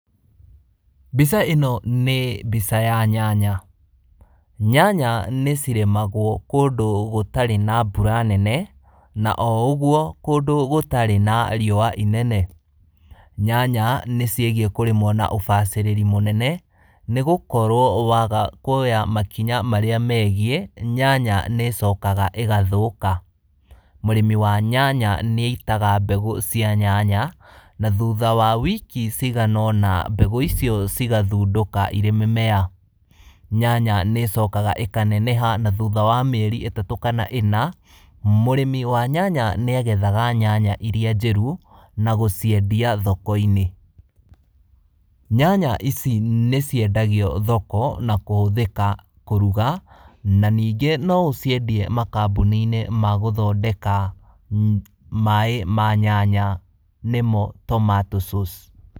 Mbica ĩno nĩ mbica ya nyanya. Nyanya nĩ cirĩmagwo kũndũ gũtarĩ na mbura nene na ũguo kũndũ gũtarĩ na riũa inene, nyanya nĩ cigĩe na kũrĩmwo na ũbacĩrĩru mũnene nĩgũkorwo wa waga kwoya makinya marĩa megie nyanya nĩ cokaga ĩgathaũka. Mũrĩmi wa nyanya nĩ aitaga mbegũ cia nyanya na thutha wa wiki ciganona mbegũ ici cigathundũka cirĩ mĩmera, nyanya nĩ cokaga ĩkaneneha na thutha wa mĩeri ĩtatũ kana ĩna mũrĩmi wa nyanya nĩ agethaga nyanya iria njĩru na gũciendeia thoko-inĩ. Nyanya ici nĩ ciendagio thoko na kũhũthĩka kũruga na ningĩ no ĩciendie makambuni-inĩ magũthondeka maĩ ma nyanya nĩmo tomato sauce.